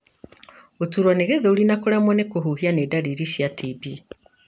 Gũturwo nĩ gĩthũri na kũremwo nĩ kũhuhia nĩ ndariri cia TB.